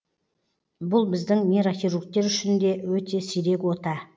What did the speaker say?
бұл біздің нейрохиругтер үшін де өте сирек ота